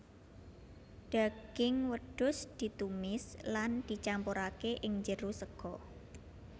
Daging wedhus ditumis lan dicampurake ing jero sega